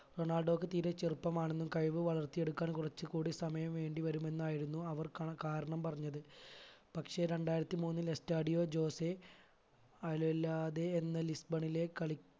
റൊണാൾഡോക്ക് തീരെ ചെറുപ്പമാണെന്നും കഴിവ് വളർത്തിയെടുക്കാൻ കുറച്ചുകൂടി സമയം വേണ്ടിവരുമെന്നുമായിരുന്നു അവർ കണ കാരണം പറഞ്ഞത് പക്ഷെ രണ്ടായിരത്തി മൂന്നിൽ എസ്‌റ്റഡിയ ജോസെയ് എന്ന ലിസ്ബണിലെ കളി